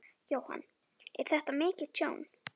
Jóhann: Er þetta mikið tjón?